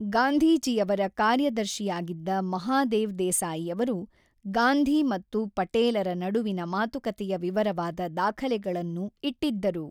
ಗಾಂಧೀಜಿಯವರ ಕಾರ್ಯದರ್ಶಿಯಾಗಿದ್ದ ಮಹಾದೇವ್ ದೇಸಾಯಿಯವರು ಗಾಂಧಿ ಮತ್ತು ಪಟೇಲರ ನಡುವಿನ ಮಾತುಕತೆಯ ವಿವರವಾದ ದಾಖಲೆಗಳನ್ನು ಇಟ್ಟಿದ್ದರು.